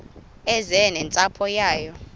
eze nentsapho yayo